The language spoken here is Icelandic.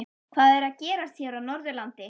Hvað er að gerast hér á Norðurlandi?